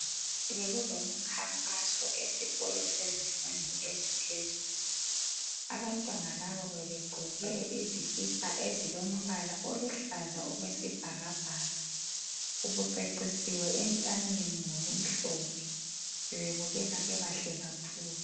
Bekulomkhankaso esikolo sezifundo eziphezulu. Abantwana laba bebegqoke izikipa ezilombala oluhlaza okwesibhakabhaka. Ubucecisiwe entanyeni ngokumhlophe. Bebebukeka bebahle kakhulu.